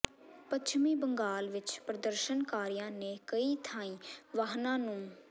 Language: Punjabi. ਪੱਛਮੀ ਬੰਗਾਲ ਵਿੱਚ ਪ੍ਰਦਰਸ਼ਨਕਾਰੀਆਂ ਨੇ ਕਈ ਥਾਈਂ ਵਾਹਨਾਂ ਨੂੰ